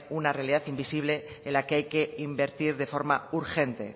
una realidad invisible en la que hay que invertir de forma urgente